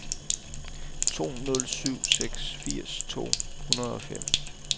to nul syv seks firs to hundrede og fem